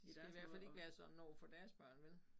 De skal i hvert fald ikke være sådan overfor deres børn vel